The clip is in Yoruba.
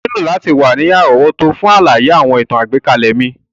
O nílò láti wa ni àrówótó fun àlàyé àwọn ìtàn àgbékalẹ̀ mi.